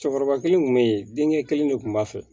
Cɛkɔrɔba kelen kun be yen denkɛ kelen de kun b'a fɛ